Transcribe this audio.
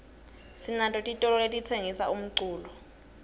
sinato titolo letitsengisa umculo